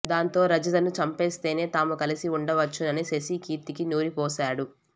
దాంతో రజితను చంపేస్తేనే తాము కలిసి ఉండవచ్చునని శశి కీర్తికి నూరిపోశాడు